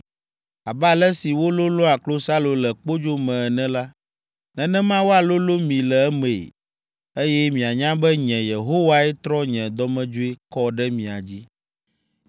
Abe ale si wololõa klosalo le kpodzo me ene la, nenema woalolõ mi le emee, eye mianya be nye, Yehowae trɔ nye dɔmedzoe kɔ ɖe mia dzi.’ ”